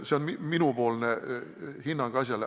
See on minu hinnang asjale.